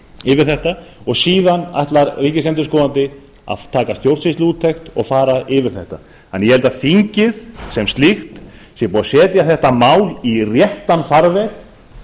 yfir þetta og síðan ætlar ríkisendurskoðandi að láta gera stjórnsýsluúttekt og fara yfir þetta mál ég held þess vegna að þingið sem slíkt sé búið að setja þetta mál í réttan farveg